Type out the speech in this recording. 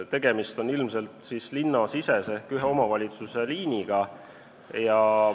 Tegemist on ilmselt siis linnasisese ehk ühe omavalitsuse liiniga.